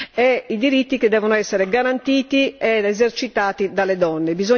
e i diritti che devono essere garantiti ed esercitati dalle donne.